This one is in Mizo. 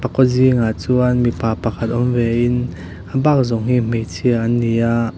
kaw zingah chuan mipa pakhat awm ve in a bak zawng hi hmeichhia an ni a.